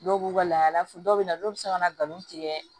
Dɔw b'u ka laada fɔ dɔw bɛ na dɔw bɛ se ka na nkalon tigɛ